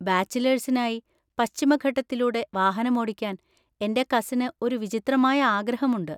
ബാച്ചിലേഴ്‌സിനായി പശ്ചിമഘട്ടത്തിലൂടെ വാഹനമോടിക്കാൻ എന്‍റെ കസിന് ഒരു വിചിത്രമായ ആഗ്രഹമുണ്ട്.